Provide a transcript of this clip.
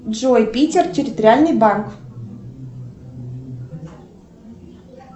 джой питер территориальный банк